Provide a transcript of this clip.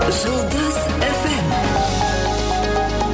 жұлдыз эф эм